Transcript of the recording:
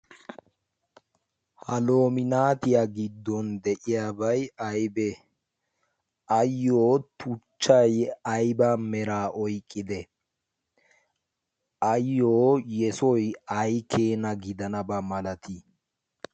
Ha loominatiya giddon de'iyabay aybe? Ayyo tuchchay ayba mera oyqqide? Ayyo yesoy ay keena gidanaba malti?